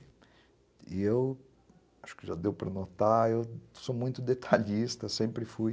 E eu, acho que já deu para notar, eu sou muito detalhista, sempre fui.